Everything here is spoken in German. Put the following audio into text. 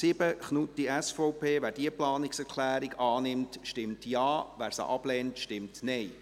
7, Knutti/SVP: Wer diese annimmt, stimmt Ja, wer sie ablehnt, stimmt Nein.